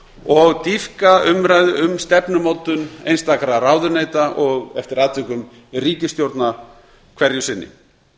og dýpka umræðu um stefnumótun einstakra ráðuneyta og eftir atvikum ríkisstjórnar hverju sinni